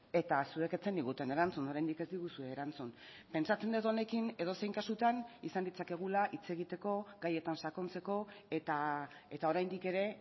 eta zuek ez zeniguten erantzun oraindik ez diguzue erantzun pentsatzen dut honekin edozein kasutan izan ditzakegula hitz egiteko gaietan sakontzeko eta oraindik ere